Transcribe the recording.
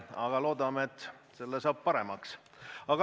Aga loodame, et see asi läheb paremaks.